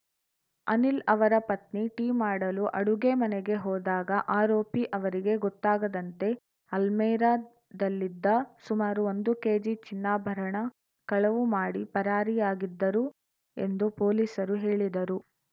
ಅನಿಲ್‌ ಅವರ ಪತ್ನಿ ಟೀ ಮಾಡಲು ಅಡುಗೆ ಮನೆಗೆ ಹೋದಾಗ ಆರೋಪಿ ಅವರಿಗೆ ಗೊತ್ತಾಗದಂತೆ ಅಲ್ಮೇರಾದಲ್ಲಿದ್ದ ಸುಮಾರು ಒಂದು ಕೆಜಿ ಚಿನ್ನಾಭರಣ ಕಳವು ಮಾಡಿ ಪರಾರಿಯಾಗಿದ್ದರು ಎಂದು ಪೊಲೀಸರು ಹೇಳಿದರು